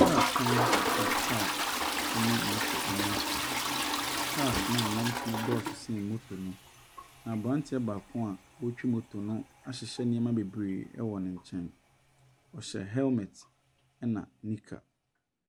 Kaa kwan a kaa ne moto nam so. Cars no a ɛnam so no dɔɔ so sen moto no. aberanteɛ baako a ɔretwi moto no ahyehyɛ nneɛma bebree wɔ ne nkyɛn. Ɔhyɛ helmet na knicker.